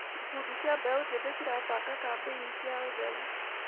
Ikundi cia mbeũ njĩthĩ cirabanga kambĩini cia ũtheru.